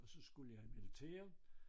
Og så skulle jeg i militæret